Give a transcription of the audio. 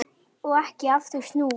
Og ekki aftur snúið.